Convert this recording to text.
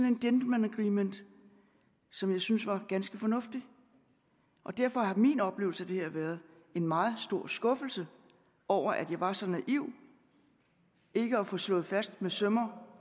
en gentleman’s agreement som jeg syntes var ganske fornuftig og derfor har min oplevelse af det her været en meget stor skuffelse over at jeg var så naiv ikke at få slået fast med søm og